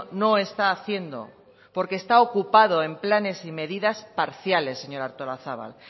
no está haciendo porque está ocupado en planes y medidas parciales señora artolazabal